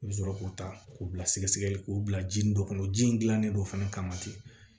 I bɛ sɔrɔ k'u ta k'u bila sɛgɛsɛgɛli k'u bila ji nin dɔ kɔnɔ ji in dilannen don fana kama ten